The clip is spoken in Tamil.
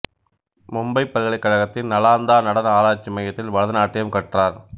மும்பை பல்கலைக்கழகத்தின் நலாந்தா நடன ஆராய்ச்சி மையத்தில் பரதநாட்டியம் கற்றார்